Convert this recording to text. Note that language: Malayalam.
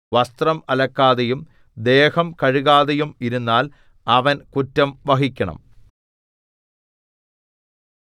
വസ്ത്രം അലക്കാതെയും ദേഹം കഴുകാതെയും ഇരുന്നാൽ അവൻ കുറ്റം വഹിക്കണം